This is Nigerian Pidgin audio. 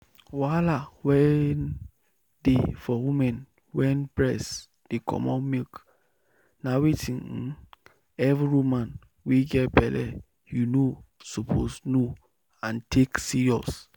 wahala wen dey for women wen breast dey comot milk na wetin um every woman wey get belle you know suppose know and take serious.